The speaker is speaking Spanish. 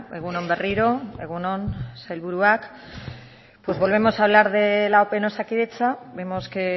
egun on berriro egun on sailburuak pues volvemos a hablar de la ope en osakidetza vemos que